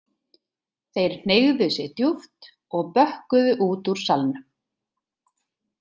Þeir hneigðu sig djúpt og bökkuðu út úr salnum.